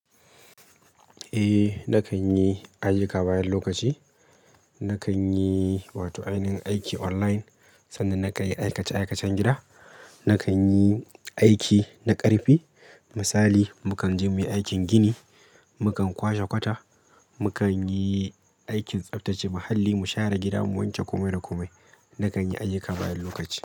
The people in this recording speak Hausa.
Eh nakan yi ayyuka bayan lokaci, nakan yi wato ainihin aiki online sanda na kai aikace-aikacen gida. Nakan yi aiki na ƙarfi misali mu kan je muyi aikin gini, mu kan kwashe kwata, mu kan yi aikin tsaftace muhalli, mu share gida, mu wanke komai da komai. Nakan yi ayyuka bayan lokaci.